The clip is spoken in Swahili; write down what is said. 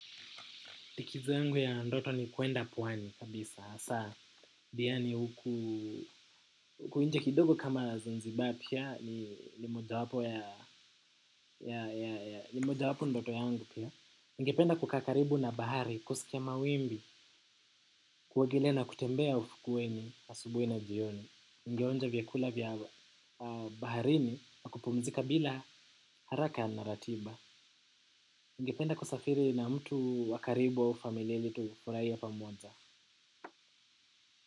Likizo zangu ya ndoto ni kwenda pwani kabisa. Hasa, diani huku, huku nje kidogo kama zanzibar pia, ni moja wapo ya, ya nimoja wapo ndoto yangu pia. Ningependa kukaa karibu na bahari kusikia mawimbi, kuogelea na kutembea ufukweni, asubuhi na jioni. Ningeonja vyakula vya. Baharini, na kupumzika bila haraka na ratiba. Nigependa kusafiri na mtu wakaribu au familia ilitufurahie pamoja.